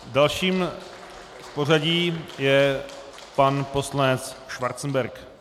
Dalším v pořadí je pan poslanec Schwarzenberg.